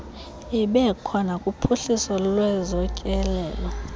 ibekho nakuphuhliso lwezotyelelo